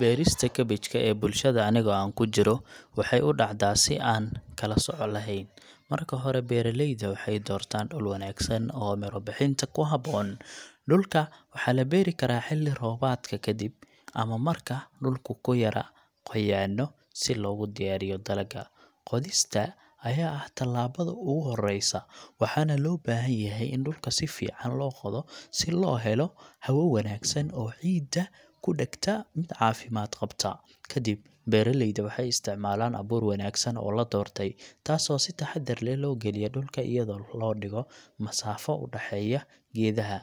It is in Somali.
Beerista cabbage ka ee bulshada aniga aan kuu ku jiro waxay u dhacdaa si aan kala sooc lahayn. Marka hore, beeraleyda waxay doortaan dhul wanaagsan oo miro-bixinta ku habboon. Dhulka waxaa la beeri karaa xilli roobaadka ka dib, ama marka dhulku ka yara qoyaanno, si loogu diyaariyo dalagga. Qodista ayaa ah talaabada ugu horeysa, waxaana loo baahan yahay in dhulka si fiican loo qodo si uu u helo hawo wanaagsan oo ciidda ka dhagta caafimaad qabta. Kadib, beeraleyda waxay isticmaalaan abuur wanaagsan oo la doortay, taas oo si taxaddar leh loo galiya dhulka iyadoo loo dhigo masaafo u dhexeeya geedaha.